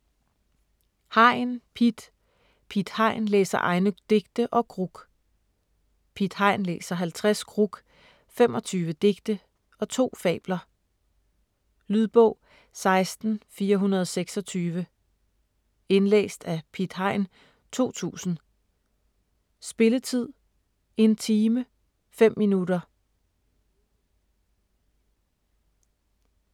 Hein, Piet: Piet Hein læser egne digte & gruk Piet Hein læser 50 gruk, 25 digte og 2 fabler. Lydbog 16426 Indlæst af Piet Hein, 2000. Spilletid: 1 time, 5 minutter.